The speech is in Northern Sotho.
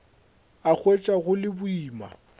a hwetša go le boima